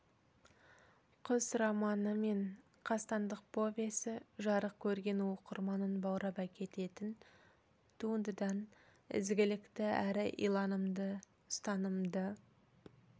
құс романы мен қастандық повесі жарық көрген оқырманын баурап әкететін туындыдан ізгілікті әрі иланымды ұстанымды